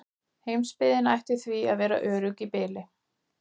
Heimsbyggðin ætti því að vera örugg í bili.